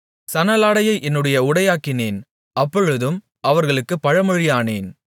சணலாடையை என்னுடைய உடையாக்கினேன் அப்பொழுதும் அவர்களுக்குப் பழமொழியானேன்